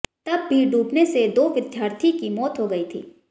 तब भी डूबने से दो विद्यार्थी की मौत हो गए थी